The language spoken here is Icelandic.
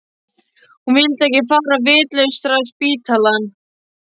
Hún vildi ekki fara á vitlausraspítalann.